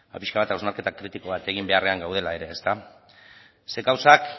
pixka bat hausnarketa kritiko bat egin beharrean gaudela ere zeren gauzak